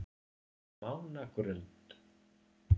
Mánagrund